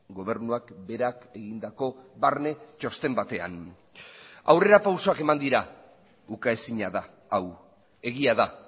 gobernuak berak egindako barne txosten batean aurrerapausoak eman dira ukaezina da hau egia da